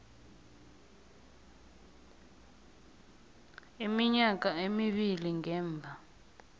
iminyaka emibili ngemva